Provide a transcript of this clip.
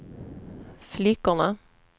flickorna